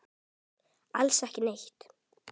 Alls ekki neitt.